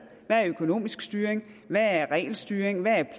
er økonomisk styring hvad er regelstyring hvad er